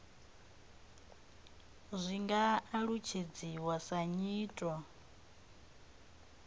zwi nga alutshedziwa sa nyito